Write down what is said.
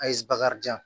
A ye bakarijan